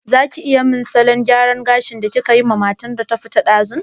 Zaki iya min irin salon gyaran gashin da kikayi wa matar da ta fita yanzu?